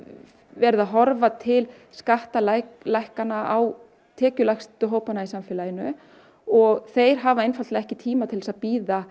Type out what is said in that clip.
verið að horfa til skattalækkana á tekjulægstu hópana í samfélaginu og þeir hafa einfaldlega ekki tíma til þess að bíða